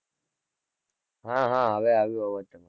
હા હા હવે આવ્યું અવાજ તો